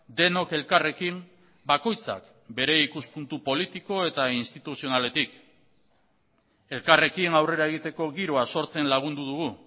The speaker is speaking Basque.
denok elkarrekin bakoitzak bere ikuspuntu politiko eta instituzionaletik elkarrekin aurrera egiteko giroa sortzen lagundu dugu